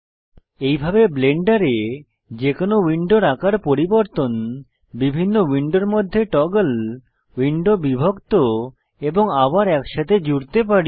এইভাবে ব্লেন্ডারে যে কোনো উইন্ডোর আকার পরিবর্তন বিভিন্ন উইন্ডো মধ্যে টগল উইন্ডো বিভক্ত এবং আবার একসাথে জুড়তে পারি